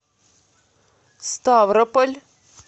ставрополь